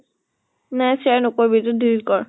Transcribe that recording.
নাই share নকৰিবি এইটো delete কৰ।